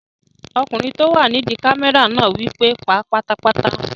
Ọkùnrin tó wà nídi kámẹ́rà náà wí pé "pa á pátápátá!"